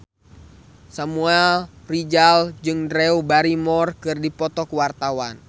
Samuel Rizal jeung Drew Barrymore keur dipoto ku wartawan